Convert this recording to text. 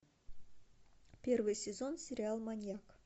первый сезон сериал маньяк